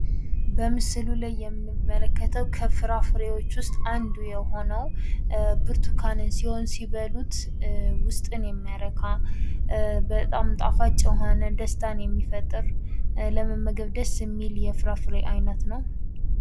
በምስሉ ላይ የምንመለከተው ከፍራፍሬዎች ውስጥ አንዱ የሆነው ብርቱካንን ሲሆን ሲበሉት ውስጥን የሚያረካ በጣም ጣፋጭ የሆነ ደስታን የሚፈጥር ለመመገብ ደስ የሚል የፍራፍሬ አይነት ነው።